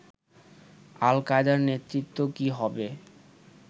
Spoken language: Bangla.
আল কায়দার নেতৃত্ব কী হবে